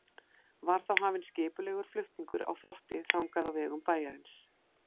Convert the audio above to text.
Var þá hafinn skipulegur flutningur á þvotti þangað á vegum bæjarins.